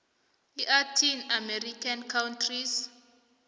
latin american countries